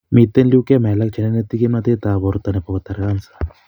Miten leukemia alak cheneneti kimnotet ab borto ne bo koter kansa